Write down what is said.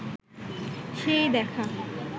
সেই দেখা